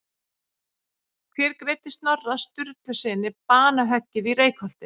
Hver greiddi Snorra Sturlusyni banahöggið í Reykholti?